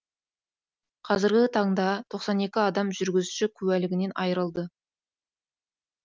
қазіргі таңда тоқсан екі адам жүргізуші куәлігінен айырылды